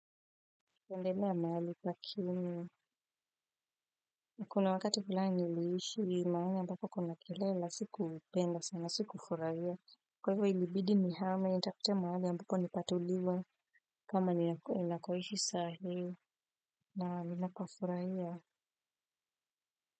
Kuendelea mahali pa kinu na kuna wakati fulani niliishi mahalii ambako kuna kelele sikupenda sana sikufurahia. Kwa hivyo ilibidi nihame nitafute mahali ambapo ni patulivu. Kama ninakoishi sahi na ninapafurahia.